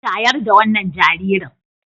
Shayar da wannan jaririn.